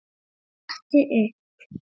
Stattu upp!